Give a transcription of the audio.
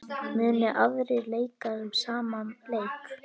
Munu aðrir leika sama leik?